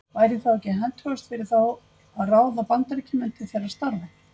Væri þá ekki hentugast fyrir þá að ráða Bandaríkjamenn til þeirra starfa?